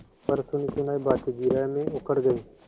पर सुनीसुनायी बातें जिरह में उखड़ गयीं